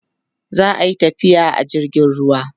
zaiyi tafiya a jirgin ruwa